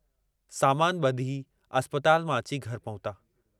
तड॒हिं डिसी करे बुधाए सघिबो।